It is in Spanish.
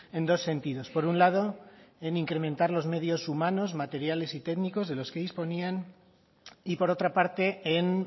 en dos sentidos por un lado en incrementar los medios humanos materiales y técnicos de los que disponían y por otra parte en